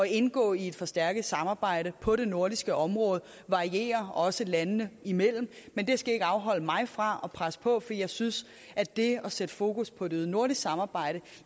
indgå i et forstærket samarbejde på det nordiske område varierer også landene imellem men det skal ikke afholde mig fra at presse på for jeg synes at det at sætte fokus på et øget nordisk samarbejde